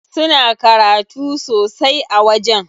Suna karatu sosai a wajen.